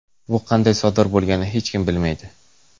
Bu qanday sodir bo‘lganini hech kim bilmaydi .